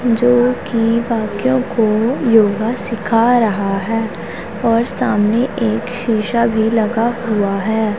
जोकि बाकियों को योगा सीखा रहा है और सामने एक शीशा भी लगा हुआ है।